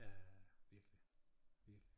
Ja ja virkelig virkelig